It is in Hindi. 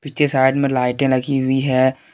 पीछे साइड में लाइटें लगी हुई है।